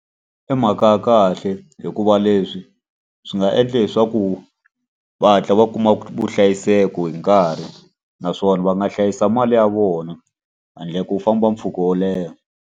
I mhaka ya kahle hikuva leswi swi nga endla leswaku va hatla va kuma vuhlayiseko hi nkarhi. Naswona va nga hlayisa mali ya vona handle ko famba mpfhuka wo leha.